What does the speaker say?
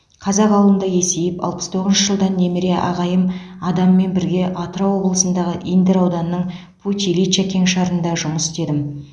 қазақ ауылында есейіп алпыс тоғызыншы жылдан немере ағайым адаммен бірге атырау облысындағы индер ауданының путь ильича кеңшарында жұмыс істедім